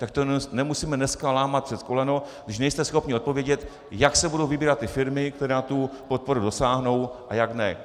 Tak to nemusíme dneska lámat přes koleno, když nejste schopni odpovědět, jak se budou vybírat ty firmy, které na tu podporu dosáhnou, a jak ne.